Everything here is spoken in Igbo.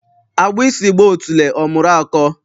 Agbụsị gbaa otule, ọ mụrụ akọ.